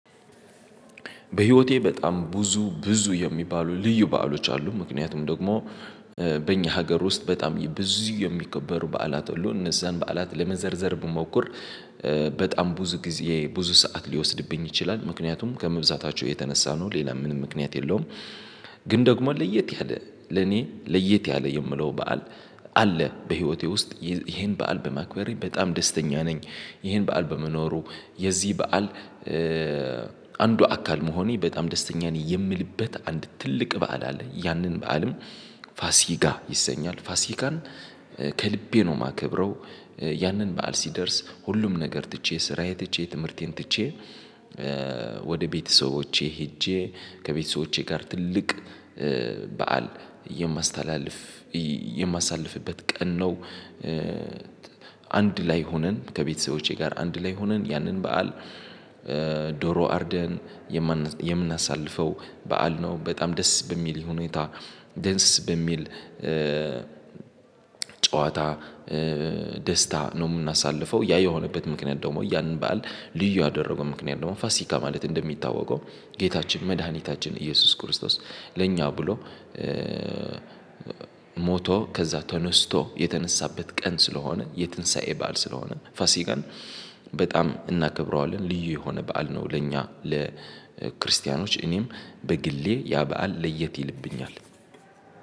በህይወቴ በጣም ብዙ ብዙ የሚባሉ ልዩ በዓሎች አሉ ምክንያቱም ደግሞ በእኛ ሀገር ውስጥ በጣም ብዙ የሚከበሩ በዓላት ሁሉ እነዛን በዓላት ለመዘርዘር ብሞክር በጣም ብዙ ጊዜ ብዙ ሰዓት ሊወስድብኝ ይችላል ምክንያቱም ከመብዛታቸው የተነሳ ነው ሌላ ምንም ምክንያት የለውም ግን ደግሞ ለየት ያለ ለኔ ለየት ያለ የምለው በዓል አለ በህይወቴ ውስጥ ይሄን በዓል በማክበሬ በጣም ደስተኛ ነኝ ይሄን በዓል በመኖሩ የዚህ በዓል አንዱ አካል መሆኔ በጣም ደስተኛ የሚልበት አንድ ትልቅ በዓል አለ ያንን በዓልም ፋሲጋ ይሰኛል ፋሲካን ከልቤ ነው የማከብረው ያንን በዓል ሲደርስ ሁሉም ነገር ትቼ ስራዬ ትቼ ትምህርቴን ትቼ ወደ ቤተሰቦቼ ሄጄ ከቤተሰቦቼ ጋር ትልቅ በዓል የማሳልፍበት ቀን ነው አንድ ላይ ሆነን ከቤተሰቦቼ ጋር አንድ ላይ ሆነን ያንን በዓል ዶሮ አርደን የምናሳልፈው በዓል ነው፤ በጣም ደስ በሚል ይሄ ሁኔታ ደንስስ በሚል ጨዋታ ደስታ ነው የምናሳልፈው፤ ያ የሆነበት ምክንያት ደግሞ ያንን ባል ልዩ ያደረገው ምክንያት ደግሞ ፋሲካ ማለት እንደሚታወቀው ጌታችን መድኃኒታችን ኢየሱስ ክርስቶስ ለኛ ብሎ ሞቶ ከዛ ተነስቶ የተነሳበት ቀን ስለሆነ የትንሳኤ በዓል ስለሆነ ፋሲጋን በጣም እናከብረዋለን ልዩ የሆነ በዓል ነው ለእኛ ለክርስቲያኖች እኔም በግሌ ያ በዓል ለየት ይልብኛል።